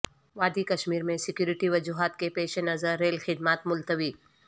وادی کشمیر میں سکیورٹی وجوہات کے پیش نظر ریل خدمات ملتوی